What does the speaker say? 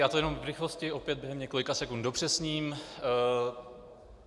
Já to jenom v rychlosti opět do několika sekund dopřesním.